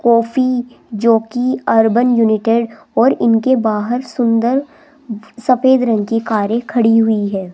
Coffee जो कि urban united और इनके बाहर सुंदर सफेद रंग की कारें खड़ी हुई है।